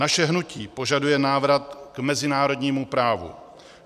Naše hnutí požaduje návrat k mezinárodnímu právu.